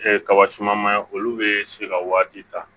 kaba suman ma olu be se ka waati ta